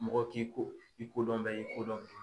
Mɔgɔw k'i ko i kodɔnbɛ i kodɔnbɛ.